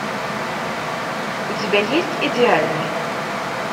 у тебя есть идеальный